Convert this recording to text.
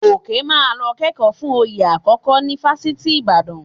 Gòkè máa lọ kẹ́kọ̀ọ́ fún oyè àkọ́kọ́ ní Fáṣítì Ìbàdàn